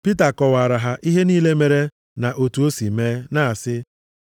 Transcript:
Pita kọwaara ha ihe niile mere na otu o si mee, na-asị.